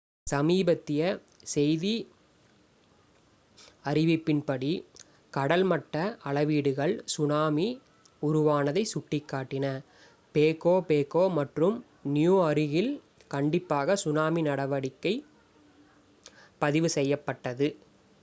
சமீபத்திய செய்தி அறிவிப்பின்படி கடல்மட்ட அளவீடுகள் சுனாமி உருவானதை சுட்டிக்காட்டின பேகோ பேகோ மற்றும் நியூ அருகில் கண்டிப்பாக சுனாமி நடவடிக்கை பதிவு செய்யப்பட்டது